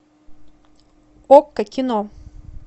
окко кино